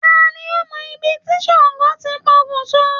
Ta ni ó mọ ibi tí Ṣàngó ti pokùnso?